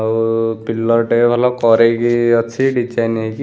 ଆଉ ପିଲର୍‌ ଟେ ଭଲ କରେଇକି ଅଛି ଡିଜାଇନ ହେଇକି ।